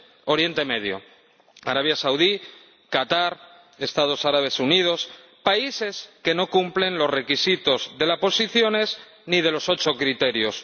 Oriente Medio Arabia Saudí, Qatar, Emiratos Árabes Unidos, países que no cumplen los requisitos de las Posiciones ni de los ocho criterios.